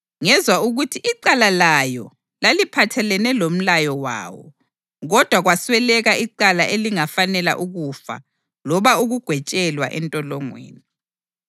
Ngezwa ukuthi icala layo laliphathelene lomlayo wawo, kodwa kwasweleka icala elingafanela ukufa loba ukugwetshelwa entolongweni.